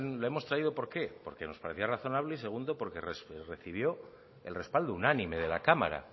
lo hemos traído por qué porque nos parecía razonable y segundo porque recibió el respaldo unánime de la cámara